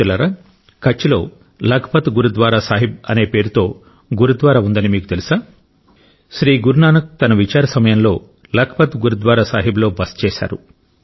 మిత్రులారా కచ్లోలఖ్ పత్ గురుద్వారా సాహిబ్ అనే పేరుతో గురుద్వారా ఉందని మీకు తెలుసా శ్రీ గురు నానక్ తన విచార సమయంలో లఖ్పత్ గురుద్వారా సాహిబ్లో బస చేశారు